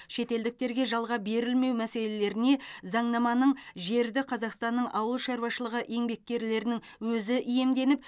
шетелдіктерге жалға берілмеу мәселелеріне заңнаманың жерді қазақстанның ауылшаруашылығы еңбеккерлерінің өзі иемденіп